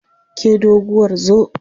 Ke doguwar zo!